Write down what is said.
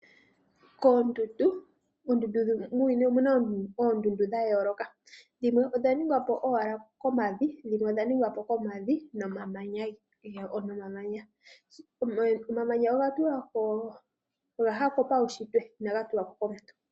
Muuyuni omuna oondundu dha yooloka. Dhimwe odha ningwa po owala komavi dhimwe odha ningwa po komavi nomamanya. Omamanya oga yako puushitwe inaga tulwako komuntu.